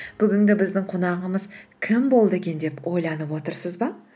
бүгінгі біздің қонағымыз кім болды екен деп ойланып отырсыз ба